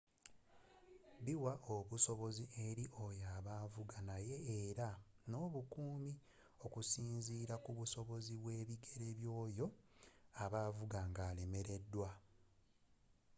biwa obusobozi eri oyo a ba avuga naye era n'obukumi okusinzira kubusobozi bwe ebigere byoyo aba avuga nga alemereddwa